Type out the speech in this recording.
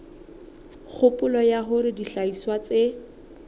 kgopolo ya hore dihlahiswa tse